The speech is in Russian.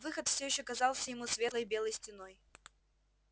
выход всё ещё казался ему светлой белой стеной